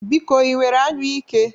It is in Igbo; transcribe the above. Biko, ị nwere anyụike?